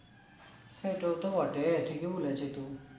হ্যাঁ তো তো বটে ঠিকই বলেছি টু